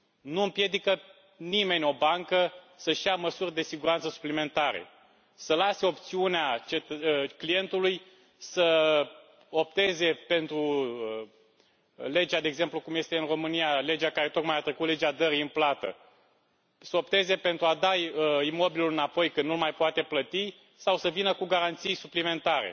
Nu împiedică nimeni o bancă să și ia măsuri de siguranță suplimentare, să lase opțiunea clientului să opteze, de exemplu, cum este în România, pentru legea care tocmai a trecut, Legea dării în plată, să opteze pentru a da imobilul înapoi când nu l mai poate plăti sau să vină cu garanții suplimentare.